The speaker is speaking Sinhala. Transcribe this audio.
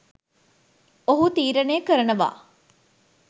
ඔහු තීරණය කරනවා